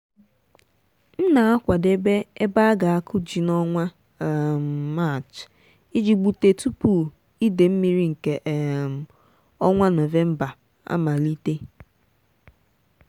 m na-akwadebe ebe a ga-akụ ji n'ọnwa um maachi iji gbute tupu ide mmiri nke um ọnwa november amalite.